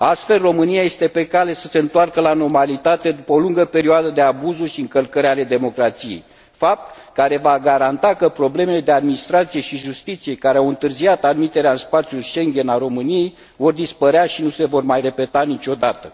Astfel, România este pe cale să se întoarcă la normalitate, după o lungă perioadă de abuzuri și încălcări ale democrației, fapt care va garanta că problemele de administrație și justiție care au întârziat admiterea în spațiul Schengen a României vor dispărea și nu se vor mai repeta niciodată.